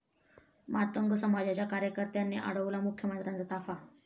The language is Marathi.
मातंग समाजाच्या कार्यकर्त्यांनी अडवला मुख्यमंत्र्यांचा ताफा